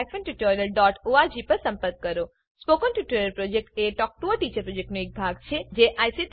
spoken tutorial project એ talk to a teacher પ્રોજેક્ટનો એક ભાગ છે